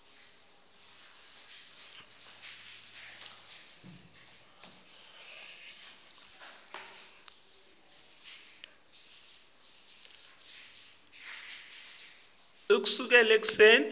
ngitawutfola litoho ekuseni